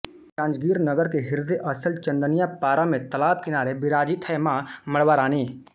जांजगीर नगर के हृदय स्थल चंदनिया पारा में तालाब किनारे विराजित है मां मड़वारानी